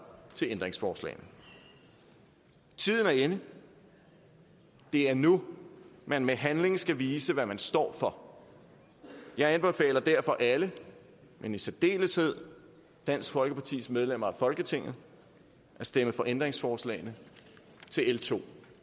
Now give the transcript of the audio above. til ændringsforslagene tiden er inde det er nu man med handling skal vise hvad man står for jeg anbefaler derfor alle men i særdeleshed dansk folkepartis medlemmer af folketinget at stemme for ændringsforslagene til l to